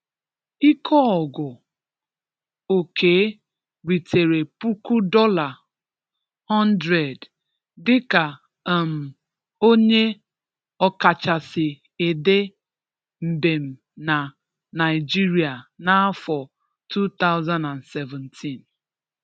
Íkéógù Òkè rịtere púkú dọ́là hundred dịka um ọ́nyé ọ̀káchásị édè mbèm na Naịjiria n'áfọ̀ two thousand and seventeen.